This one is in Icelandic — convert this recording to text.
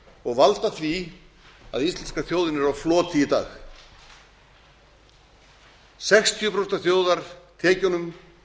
og valda því að íslenska þjóðin er á floti í dag sextíu prósent af þjóðartekjunum